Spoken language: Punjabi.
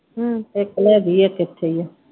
ਹਮ ਇਕ ਲੈ ਗਈ ਇਕ ਇਥੇ ਈ ਆ।